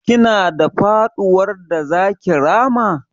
Kina da faɗuwar da zaki rama?